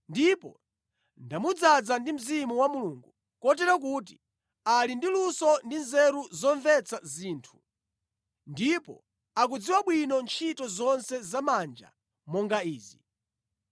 Ndipo ndamudzaza ndi Mzimu wa Mulungu kotero kuti ali ndi luso ndi nzeru zomvetsa zinthu ndipo akudziwa bwino ntchito zonse zamanja monga izi: